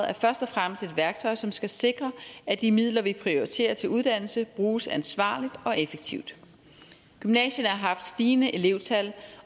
er først og fremmest et værktøj som skal sikre at de midler vi prioriterer til uddannelse bruges ansvarligt og effektivt gymnasierne har haft stigende elevtal